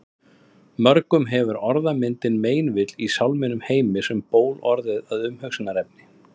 Mörgum hefur orðmyndin meinvill í sálminum Heims um ból orðið að umhugsunarefni.